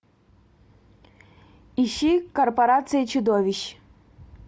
ищи корпорация чудовищ